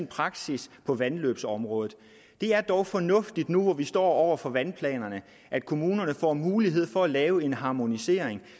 praksis på vandløbsområdet det er dog fornuftigt nu hvor vi står over for vandplanerne at kommunerne får mulighed for at lave en harmonisering